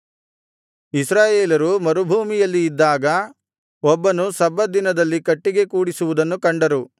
ಇಸ್ರಾಯೇಲರು ಮರುಭೂಮಿಯಲ್ಲಿ ಇದ್ದಾಗ ಒಬ್ಬನು ಸಬ್ಬತ್ ದಿನದಲ್ಲಿ ಕಟ್ಟಿಗೆ ಕೂಡಿಸುವುದನ್ನು ಕಂಡರು